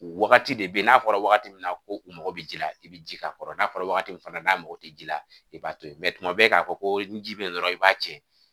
Wagati de bɛ n'a fɔra wagati min na ko u mago bɛ ji la i bɛ ji k'a kɔrɔ n'a fɔra wagati min fana n'a mago tɛ ji la i b'a to yen tuma bɛɛ k'a fɔ ko ni ji bɛ yen dɔrɔn i b'a cɛ